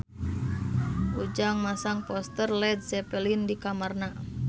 Ujang masang poster Led Zeppelin di kamarna